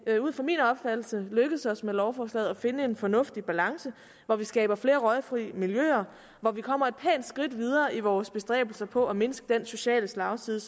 er ud fra min opfattelse lykkedes os med lovforslaget at finde en fornuftig balance hvor vi skaber flere røgfri miljøer hvor vi kommer et skridt videre i vores bestræbelser på at mindske den sociale slagside